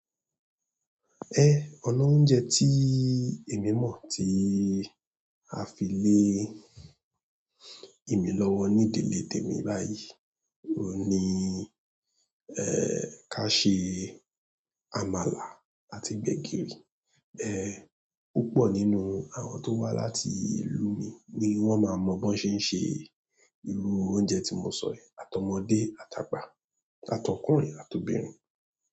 Ẹ ọnà oúnjẹ tí èmi mọ̀ tí a fi lé èmi lọ́wọ́ ní ìdèlé tèmi báyìí ni, ẹ́ ká ṣe àmàlà àti gbẹ̀gìrì. Eẹ́, púpọ̀ nínú àwọn tó wà láti ìlú mi ni wọ́n máa mọ bí ó ṣe ń ṣe. Irú oúnjẹ tí mo sọ rẹ̀, àtọmọdé, atàgbà, atọkùnrin àti obìnrin.